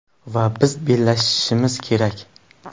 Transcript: Va biz bellashishimiz kerak.